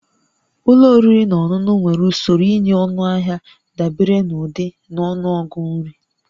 Ụlọ oriri na ọṅụṅụ nwere usoro ịnye ọnụahịa dabere n'ụdị na ọnụọgụ nri